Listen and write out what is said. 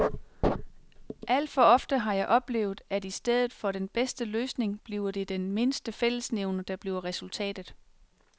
Alt for ofte har jeg oplevet, at i stedet for den bedste løsning bliver det den mindste fællesnævner, der bliver resultatet.